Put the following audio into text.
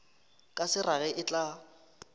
ka se rage e tla